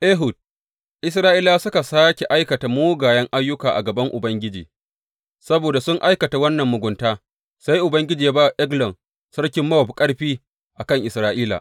Ehud Isra’ilawa suka sāke aikata mugayen ayyuka a gaban Ubangiji, saboda sun aikata wannan mugunta sai Ubangiji ya ba wa Eglon sarkin Mowab ƙarfi a kan Isra’ila.